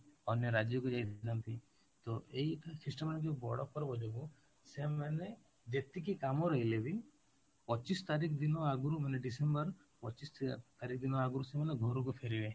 ଅନ୍ୟ ରାଜ୍ୟକୁ ଯାଇଥାନ୍ତି ତ ଏଇ christian ମାନେ ଯୋଉ ବଡ ପର୍ବ ଯୋଗୁଁ ସେମାନେ ଯେତିକି କାମ ରହିଲେ ବି ପଚିଶ ତାରିଖ ଦିନ ଆଗରୁ ମାନେ December ପଚିଶ ତାରିଖ ଦିନ ଆଗରୁ ସେମାନେ ଘରକୁ ଫେରିବେ